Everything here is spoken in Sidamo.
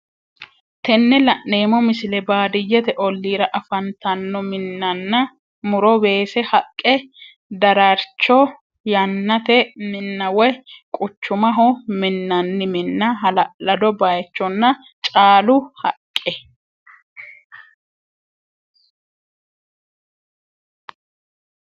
Tenne lane'mo misile baadiyyete olirra afannittano minnana murro wesse haqqe darraricho yaannate minna woy quuchumaho minnani minna hala'laddo bayichonna caaluu haqqee